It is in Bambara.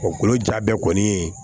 Olu ja bɛɛ kɔni